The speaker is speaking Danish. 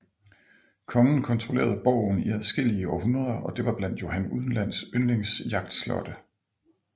Kongen kontrollerede borgen i adskillige århundreder og det var blandt Johan uden lands yndlings jagtslotte